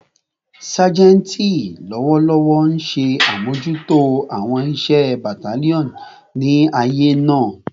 Sajenti lọwọlọwọ nṣe amojuto awọn iṣẹ battalion ni aaye naa